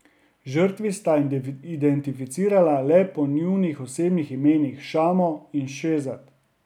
Žrtvi sta identificirala le po njunih osebnih imenih Šamo in Šehzad.